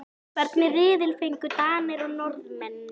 Friðrún, hvað geturðu sagt mér um veðrið?